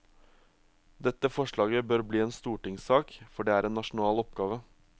Dette forslaget bør bli en stortingssak, for det er en nasjonal oppgave.